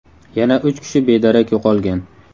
Yana uch kishi bedarak yo‘qolgan.